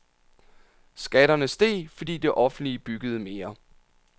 Skatterne steg, fordi det offentlige byggede mere.